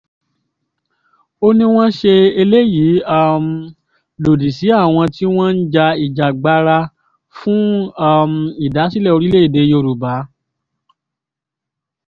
ó ní wọ́n ń ṣe eléyìí um lòdì sí àwọn tí wọ́n ń ja ìjàngbara fún um ìdásílẹ̀ orílẹ̀‐èdè yorùbá